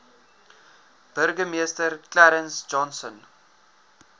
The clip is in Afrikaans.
burgemeester clarence johnson